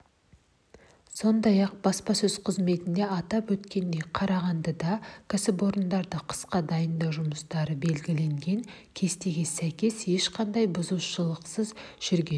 сондай-ақ баспасөз қызметінде атап өткендей қарағандыда кәсіпорындарды қысқа дайындау жұмыстары белгіленген кестеге сәйкес ешқандай бұзушылықсыз жүрген